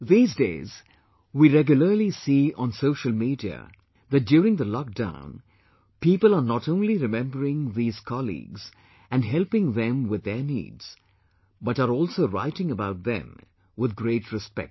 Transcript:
These days we regularly see on the social media that during the lock down, people are not only remembering these colleagues and helping them with their needs, but are also writing about them with great respect